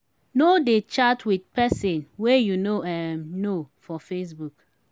no dey chat wit pesin wey you no um know for facebook.